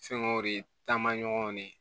Fɛnkɛw de taamaɲɔgɔnw de